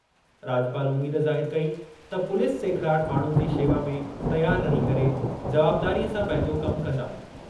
राॼपाल उमीद ज़ाहिर कई त पुलिस सेखिड़ाट माण्हुनि जी शेवा में तयार रही करे जवाबदारीअ सां पंहिंजो कमु कंदा।